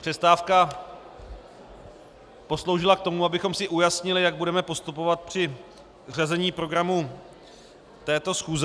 Přestávka posloužila k tomu, abychom si ujasnili, jak budeme postupovat při řazení programu této schůze.